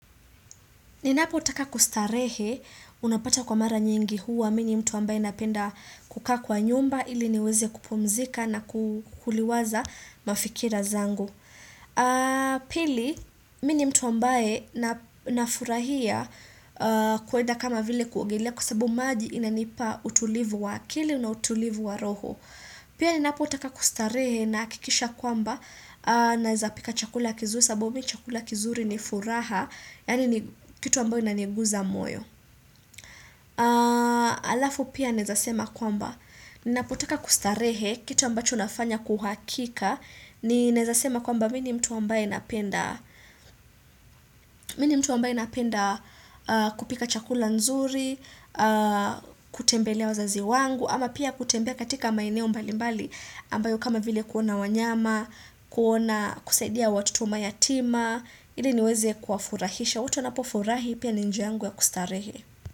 Ninapo taka kustarehe, unapata kwa mara nyingi huwa, mini mtu ambaye napenda kukaa kwa nyumba, ili niweze kupumzika na kuliwaza mafikira zangu. Pili, mini mtu ambaye na furahia kuwenda kama vile kuogelea kusabu maji inanipa utulivu wa akili na utulivu wa roho. Pia ni napoteka kustarehe na kikisha kwamba naezapika chakula kizuri sababu mimi chakula kizuri ni furaha, yani kitu ambayo inaniguza moyo. Alafu pia naezasema kwamba, ni napoteka kustarehe kitu ambacho nafanya kuhakika, ni naezasema kwamba mini mtu ambayo inapenda kupika chakula nzuri, kutembelea wazazi wangu ama pia kutembelea katika maineo mbali mbali ambayo kama vile kuona wanyama kuona kusaidia watoto umayatima ili niweze kuafurahisha wote wanapofurahi pia ninjiangu ya kustarehe.